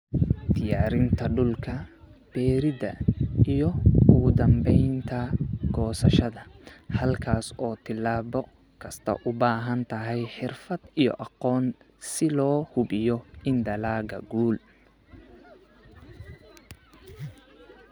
diyaarinta dhulka, beeridda, iyo ugu dambaynta goosashada, halkaas oo tillaabo kasta u baahan tahay xirfad iyo aqoon si loo hubiyo in dalagga guul.